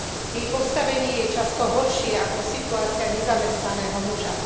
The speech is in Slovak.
Jej postavenie je často horšie ako situácia nezamestnaného muža.